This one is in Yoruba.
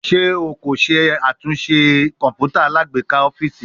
Ṣe o ko ṣatunṣe kọǹpútà alágbèéká ọfiisi?